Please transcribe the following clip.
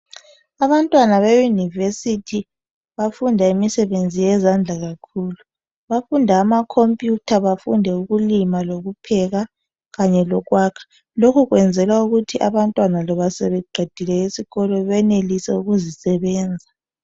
Abantwana beYunivesithi bafunda imisebenzi yezandla kakhulu. Bafunda amakhompiyutha, bafunde ukulima lokupheka kanye lokwakha . Lokhu kuyenzelwa ukuthi abantwana loba sebeqedile esikolo benelise ukuzisebenza.